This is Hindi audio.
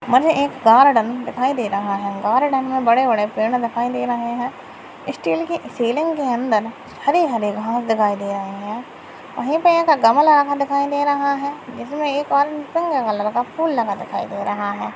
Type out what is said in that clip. मन्ने एक गार्डन दिखाई दे रहा है गार्डन मे बड़ेबड़े पेड़ दिखाई दे रहे है स्टील की रैलिंग के अंदर हरेहरे घास दिखाई दे रहे है वही पे एक गमला रखा दिखाई दे रहा है जिसमे एक सुंदर सा फूल रखा दिखाई दे रहा है।